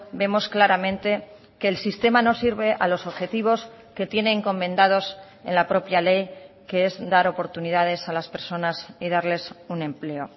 vemos claramente que el sistema no sirve a los objetivos que tiene encomendados en la propia ley que es dar oportunidades a las personas y darles un empleo